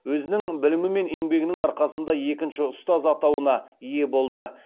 өзінің білімі мен еңбегінің арқасында екінші ұстаз атауына ие болды